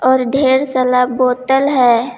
और ढेर सला बोतल है।